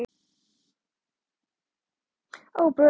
Sýnir á sér nýja hlið í sófanum.